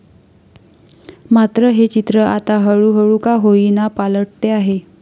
मात्र हे चित्र आता हळूहळू का होईना पालटते आहे.